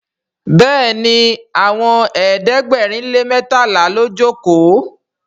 béèni Àwọn ẹ̀ẹ́dẹ̀gbẹ̀rin lè mẹtala ló joko.